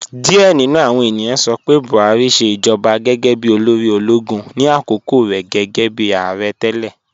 Diẹ̀ ni nú àwọn ènìyàn sọ pé Buhari ṣẹ ijọba gẹ́gẹ́ bí olóri ologun ni akókò rẹ gẹ́gẹ́bi aarẹ̀ tẹlẹ.